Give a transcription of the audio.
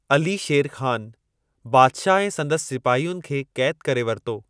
अली शेर ख़ान, बादशाह ऐं संदसि सिपाहियुनि खे कैद करे वरितो।